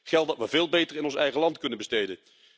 Geld dat we veel beter in ons eigen land kunnen besteden.